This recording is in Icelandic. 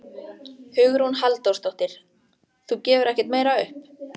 Hugrún Halldórsdóttir: Þú gefur ekkert meira upp?